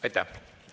Aitäh!